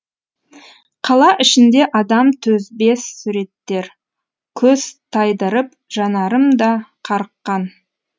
қала ішінде адам төзбес суреттер көз тайдырып жанарым да қарыққан